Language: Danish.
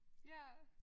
Ja